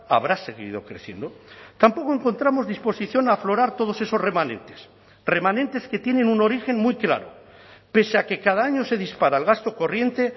habrá seguido creciendo tampoco encontramos disposición a aflorar todos esos remanentes remanentes que tienen un origen muy claro pese a que cada año se dispara el gasto corriente